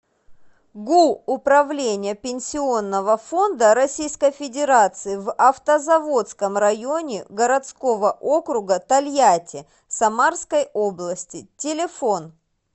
гу управление пенсионного фонда российской федерации в автозаводском районе городского округа тольятти самарской области телефон